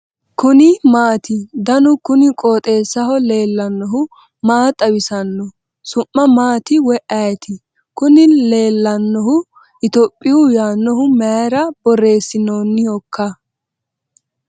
kuni maati ? danu kuni qooxeessaho leellannohu maa xawisanno su'mu maati woy ayeti ? kuni leellannohu ethiopia yaannohu mayra borreessinoonnihoikka ?